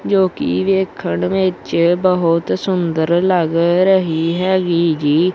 ਜੋ ਕਿ ਵੇਖਣ ਵਿੱਚ ਬਹੁਤ ਸੁੰਦਰ ਲੱਗ ਰਹੀ ਹੈਗੀ ਜੀ।